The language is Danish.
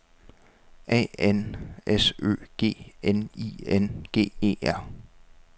A N S Ø G N I N G E R